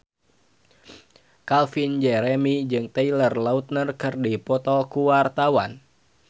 Calvin Jeremy jeung Taylor Lautner keur dipoto ku wartawan